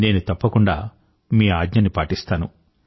నేను తప్పకుండా మీ ఆజ్ఞని పాటిస్తాను